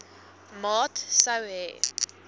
maat sou hê